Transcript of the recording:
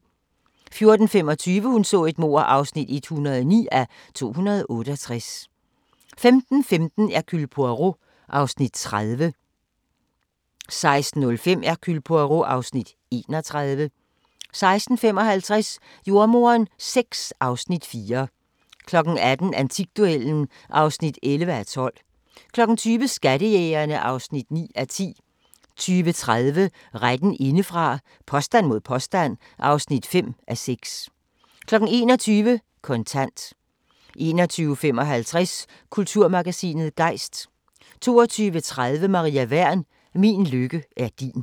14:25: Hun så et mord (109:268) 15:15: Hercule Poirot (Afs. 30) 16:05: Hercule Poirot (Afs. 31) 16:55: Jordemoderen VI (Afs. 4) 18:00: Antikduellen (11:12) 20:00: Skattejægerne (9:10) 20:30: Retten indefra – påstand mod påstand (5:6) 21:00: Kontant 21:55: Kulturmagasinet Gejst 22:30: Maria Wern: Min lykke er din